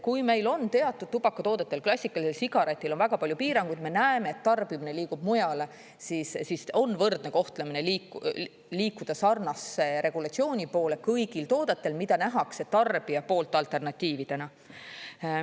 Kui meil on teatud tubakatoodetel, klassikalisel sigaretil on väga palju piiranguid, me näeme, et tarbimine liigub mujale, siis on võrdne kohtlemine liikuda sarnase regulatsiooni poole kõigil toodetel, mida nähakse tarbija poolt alternatiividena.